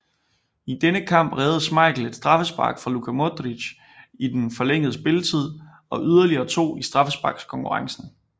I denne kamp reddede Schmeichel et straffespark fra Luka Modrić i den forlængede spilletid og yderligere to i straffesparkskonkurrencen